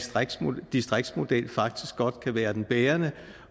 distriktsmodel faktisk godt kan være den bærende